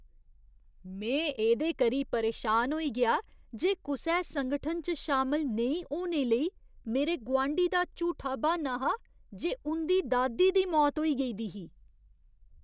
में एह्दे करी परेशान होई गेआ जे कुसै संगठन च शामल नेईं होने लेई मेरे गोआंढी दा झूठा ब्हान्ना हा जे उं'दी दादी दी मौत होई गेई दी ही।